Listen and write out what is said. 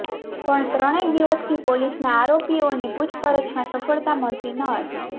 પણ ત્રણેક દિવસથી પોલીસને આરોપીઓની પૂછપરછમાં સફળતા મળતી ન હતી